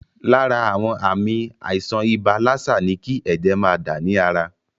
Lára àwọn àmì àìsàn ibà lásà ní kí ẹ̀jẹ̀ máa dà ní ara.